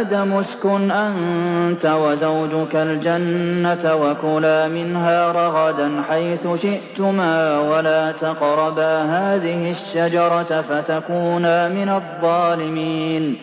آدَمُ اسْكُنْ أَنتَ وَزَوْجُكَ الْجَنَّةَ وَكُلَا مِنْهَا رَغَدًا حَيْثُ شِئْتُمَا وَلَا تَقْرَبَا هَٰذِهِ الشَّجَرَةَ فَتَكُونَا مِنَ الظَّالِمِينَ